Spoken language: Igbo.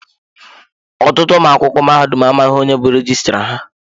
Ọtụtụ ụmụ akwụkwọ mahadum amaghị onye bu rejistra ha.